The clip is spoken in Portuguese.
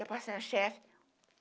Eu passei no chefe.